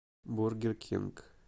бургер кинг